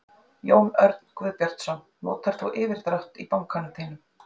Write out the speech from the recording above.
Jón Örn Guðbjartsson: Notar þú yfirdrátt í bankanum þínum?